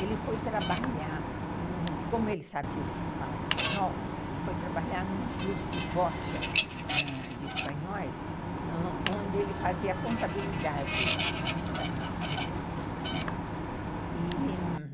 ele foi trabalhar, como ele sabia falar espanhol, ele foi trabalhar num clube de bocha de espanhóis, ãh, onde ele fazia a contabilidade do clube, né, e...